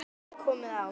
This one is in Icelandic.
aftur komið á.